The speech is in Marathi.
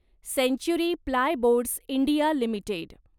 century plyboards India limited